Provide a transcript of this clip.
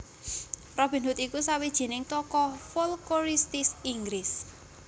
Robin Hood iku sawijining tokoh folkoristis Inggris